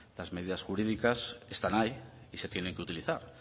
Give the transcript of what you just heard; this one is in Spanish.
las medidas jurídicas están ahí y se tienen que utilizar